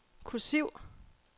kursiv